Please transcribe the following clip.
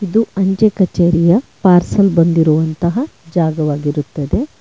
ಇದು ಅಂಚೆ ಕಚೇರಿಯ ಪಾರ್ಸೆಲ್ ಬಂದಿರುವಂತಹ ಜಾಗವಾಗಿರುತ್ತದೆ.